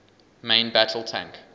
main battle tank